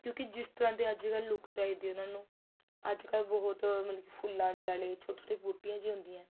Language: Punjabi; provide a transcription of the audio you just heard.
ਕਿਉਕਿ ਜਿਸ ਤਰਾਂ ਦੀ ਅੱਜਕਲ look ਚਾਹੀਦੀ ਏ ਉਹਨਾ ਨੂੰ ਅੱਜਕਲ ਬਹੁਤ ਮਤਲਬ ਕੀ ਫੁੱਲਾ ਜੀ ਵਾਲੀ ਛੋਟੀ ਛੋਟੀ ਬੂਟੀਆਂ ਜੀ ਹੁੰਦੀਆਂ